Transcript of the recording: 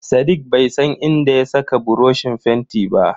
Sadiq bai san inda ya saka buroshin fentin ba.